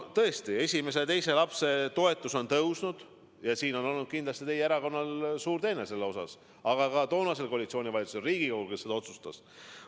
Tõesti, esimese ja teise lapse toetus on tõusnud ja see on kindlasti teie erakonna suur teene, aga ka toonase koalitsioonivalitsuse ja Riigikogu teene, kes selle otsustas.